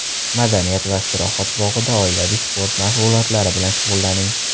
Madaniyat va istirohat bog‘ida oilaviy sport mashg‘ulotlari bilan shug‘ullaning!